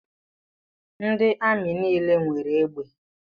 Ndị amị nile nwere egbe.